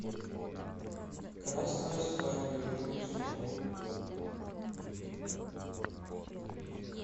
красная свадьба игры престолов